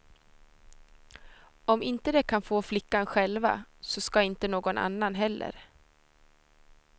Om inte de kan få flickan själva, så ska inte någon annan heller.